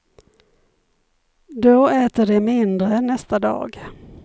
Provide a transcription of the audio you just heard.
Då äter de mindre nästa dag.